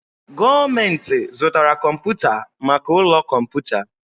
Gọọmenti zụtara kọmpụta maka ụlọ kọmputa.